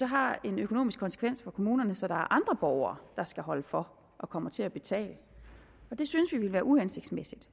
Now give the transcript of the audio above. har en økonomisk konsekvens for kommunerne så andre borgere der så skal holde for og kommer til at betale det synes vi ville være uhensigtsmæssigt